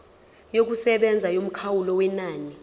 yokusebenza yomkhawulo wenani